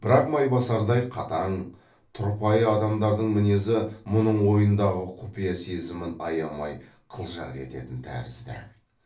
бірақ майбасардай қатаң тұрпайы адамдардың мінезі мұның ойындағы құпия сезімін аямай қылжақ ететін тәрізді